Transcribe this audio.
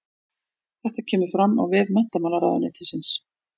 Þetta kemur fram á vef menntamálaráðuneytisins